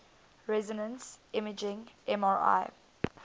resonance imaging mri